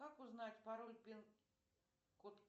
как узнать пароль пин код